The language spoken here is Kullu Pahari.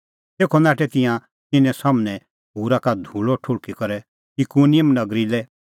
तेखअ नाठै तिंयां तिन्नें सम्हनै खूरा का धूल़अ ठुल़्हकी करै इकुनिम नगरी लै